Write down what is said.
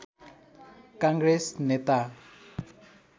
काङ्ग्रेस नेता